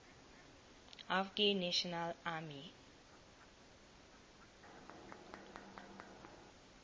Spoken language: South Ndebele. afghan national army